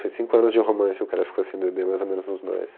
Foi cinco anos de romance, o cara ficou sem beber, mais ou menos, uns dois.